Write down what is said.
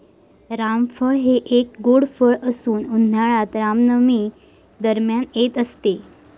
रामफळ हे एक गोड फळ असून उन्हाळ्यात रामनवमी दरम्यान येत असते.